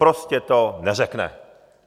Prostě to neřekne.